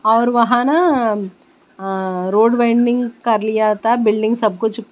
और वहां ना अं रोड वाइंडिंग कर लिया था बिल्डिंग सब कुछ--